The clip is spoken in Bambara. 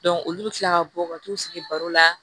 olu bɛ tila ka bɔ ka t'u sigi baro la